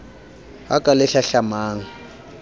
ha ka le hlahlamang o